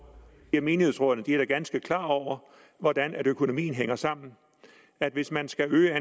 menighedsrådene er da ganske klar over hvordan økonomien hænger sammen at hvis man skal øge